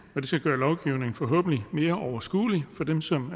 det vil forhåbentlig gøre mere overskuelig for dem som